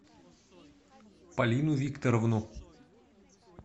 полину викторовну